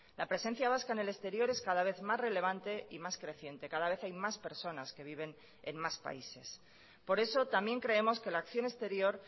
la presencia vasca en el exterior es cada vez más relevante y más creciente cada vez hay más personas que viven en más países por eso también creemos que la acción exterior